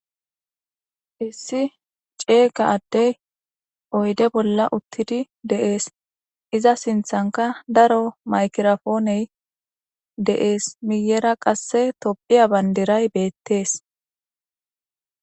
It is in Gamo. hissi ceega addey oyde bolla uttidi de'ees iza sinthanka daro maykirafooney de'ees miyera qasse tophiya bandiray beettees